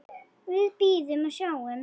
Við bíðum og sjáum.